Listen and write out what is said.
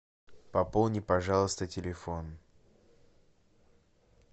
пополни пожалуйста телефон